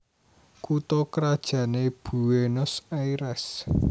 Kutha krajané Buénos Airès